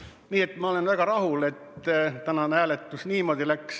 Nii et ma olen väga rahul, et tänane hääletus niimoodi läks.